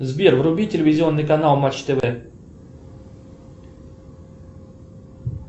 сбер вруби телевизионный канал матч тв